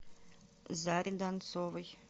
заре донцовой